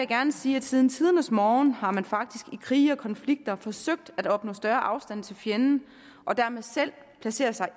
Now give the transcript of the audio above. gerne sige at siden tidernes morgen har man faktisk i krige og konflikter forsøgt at opnå større afstand til fjenden og dermed placere sig